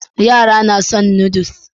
Yara suna son Noodles